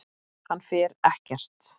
Hann fer ekkert.